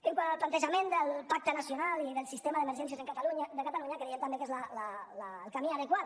quant al plantejament del pacte nacional i del sistema d’emergències de catalunya creiem també que és el camí adequat